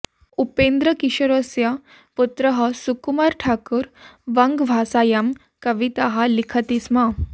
उपेन्द्रकिशोरस्य पुत्रः सुकुमार ठाकुर वङ्गभाषायां कविताः लिखति स्म